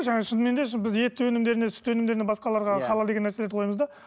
жаңағы шынымен де біз ет өнімдеріне сүт өнімдеріне басқаларға халал деген нәрселерді қоямыз да